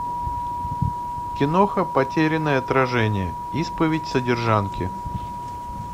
киноха потерянное отражение исповедь содержанки